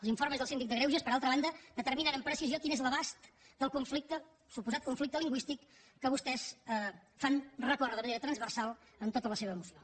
els informes del síndic de greuges per altra banda determinen amb precisió quin és l’abast del conflicte suposat conflicte lingüístic que vostès fan recórrer de manera transversal en tota la seva moció